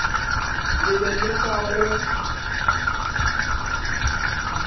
le be le sa go